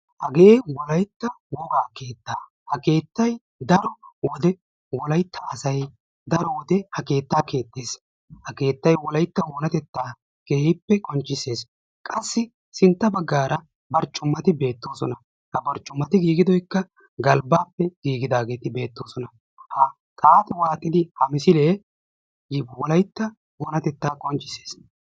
Hagee wolaytta wogaa keettaa ha keettay daro wode wolaytta asay daro wode ha keettaa keexxiis. Ha keettay wolaytta oonatetta keehippe qonccissees. Qassi sintta baggaara barccumati be'toosona. Ha barccumati giiggidoykka galbbaappe giigidaageti beettoosona. Ha xaafuwan aqqidi ha misilee wolaytta oonatetta qonccissees.